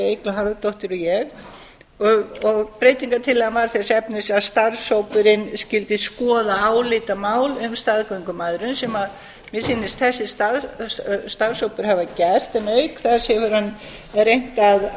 eygló harðardóttir og ég og breytingartillagan var þess efnis að starfshópurinn skyldi skoða álitamál um staðgöngumæðrun sem mér sýnist þessi starfshópur hafa gert en auk þess hefur hann reynt